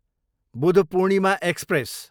Budh Purnima express